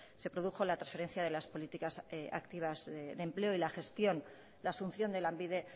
se produjo la transferencia de las políticas activas de empleo y la gestión la asunción de lanbide